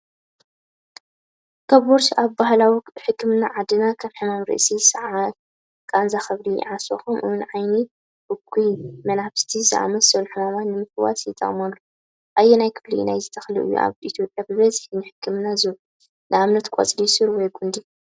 ከበርቾ ኣብ ባህላዊ ሕክምና ዓድና ከም ሕማም ርእሲ፡ ሰዓል፡ ቃንዛ ከብዲ፡ ዓሶ፡ ከምኡ'ውን "ዓይኒ" (እኩይ መናፍስቲ) ዝኣመሰሉ ሕማማት ንምፍዋስ ይጥቀሙሉ። ኣየናይ ክፋል ናይዚ ተኽሊ እዩ ኣብ ኢትዮጵያ ብብዝሒ ንሕክምና ዝውዕል (ንኣብነት ቆጽሊ፡ ሱር ወይ ጕንዲ)?